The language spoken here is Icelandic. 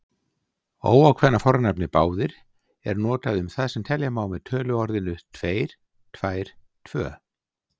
Óákveðna fornafnið báðir er notað um það sem telja má með töluorðinu tveir, tvær, tvö.